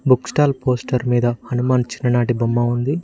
Book stall poster మీద హనుమాన్ చిన్ననాటి బొమ్మ ఉంది.